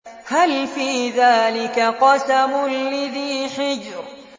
هَلْ فِي ذَٰلِكَ قَسَمٌ لِّذِي حِجْرٍ